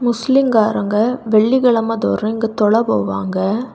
முஸ்லீம் காரங்க வெள்ளிக்கிழமை தோறும் இங்க தொழ போவாங்க.